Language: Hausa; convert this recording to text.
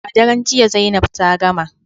A daren jiya Zainab ta gama